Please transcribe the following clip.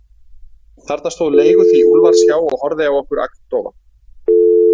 Þarna stóð leiguþý Úlfars hjá og horfði á okkur agndofa.